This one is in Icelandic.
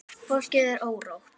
Fólki er órótt.